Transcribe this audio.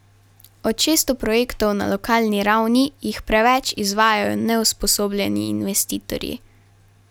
Od šeststo projektov na lokalni ravni jih preveč izvajajo neusposobljeni investitorji.